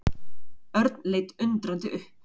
Örn leit undrandi upp.